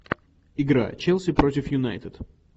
игра челси против юнайтед